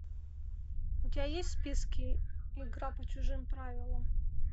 у тебя есть в списке игра по чужим правилам